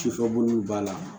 Sufɛ bolow b'a la